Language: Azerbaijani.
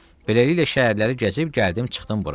Beləliklə şəhərləri gəzib gəldim çıxdım bura.